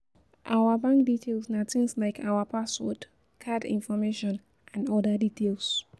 Our bank details na things like our password, card information and oda details